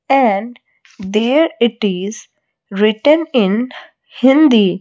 and there it is written in hindi.